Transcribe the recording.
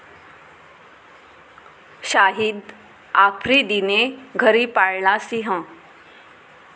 शाहिद आफ्रिदीने घरी पाळला सिंह?